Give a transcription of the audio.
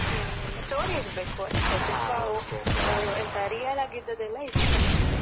ಹ್ಮ್ story ಇರ್ಬೇಕು ಅಷ್ಟೇ. ತುಂಬಾ real ಆಗಿ ಇದುದೆಲ್ಲ ಇಷ್ಟ ಆಗ್ತದೆ.